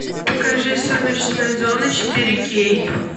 покажи сумеречная зона четыре кей